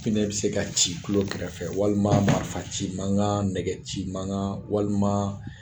Pinɛ bɛ se ka ci i tulo kɛrɛfɛ, walima marifa ci mankan, nɛgɛ ci mankan, walima